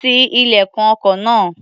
Ti ilẹ̀kùn ọkọ̀ náà.